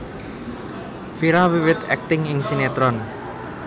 Vira wiwit akting ing sinétron